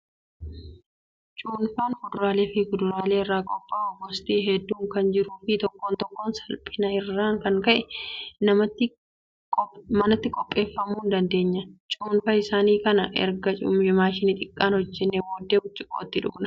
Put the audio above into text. Cuunfaan fuduraalee fi kuduraalee irraa qophaa'u gosti hedduun kan jiruu fi tokko tokko salphina irraan kan ka'e manatti qopheeffachuu dandeenya. Cuunfaa isaa kana erga maashina xiqqaan hojjannee booddee burcuqqootti dhugna.